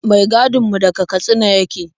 Mai gadin mu daga Katsina yake.